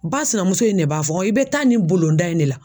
Ba sinamuso in de b'a fɔ i be taa nin bulonda in ne la.